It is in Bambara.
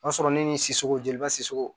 O y'a sɔrɔ ne ni sogo jeliba siso